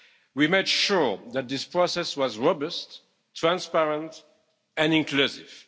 We made sure that this process was robust, transparent and inclusive.